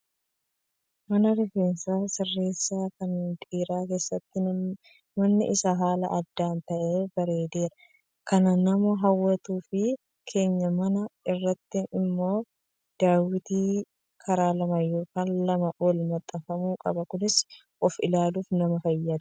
Mana rifeensa sireessan kan dhiiraa keessatti manni isaa haala adda ta'een bareedee kan nama hawwatuu fi keenyaa manaa irratti immoo daawwitii karaa lama yookiin lamaa olii maxxanfamuu qaba. Kunis of ilaaluuf nama fayyada